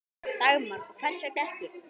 Dagmar: Og hvers vegna ekki?